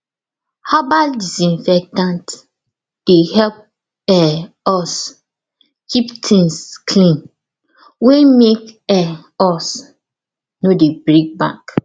herbal disinfectant dey help um us keep things clean wey make um us no dey break bank